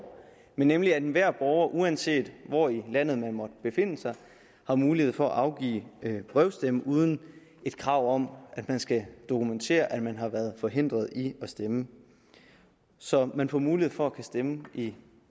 nemlig at enhver borger uanset hvor i landet man måtte befinde sig har mulighed for at afgive brevstemme uden et krav om at man skal dokumentere at man har været forhindret i at stemme så man får mulighed for at kunne stemme i